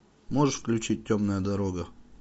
можешь включить темная дорога